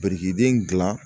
Birikiden dilan